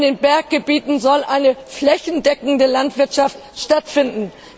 Auch in Berggebieten soll eine flächendeckende Landwirtschaft stattfinden.